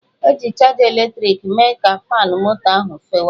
Eji chaja eletrịkị mee ka moto faanụ ahụ fewe